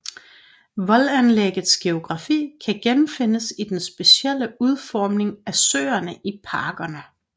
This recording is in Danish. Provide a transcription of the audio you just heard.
Voldanlæggets geografi kan genfindes i den specielle udformning af søerne i parkerne